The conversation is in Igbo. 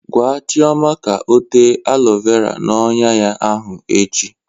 Gwa Chioma ka o tee alọ vera n'ọnyà ya ahụ echi!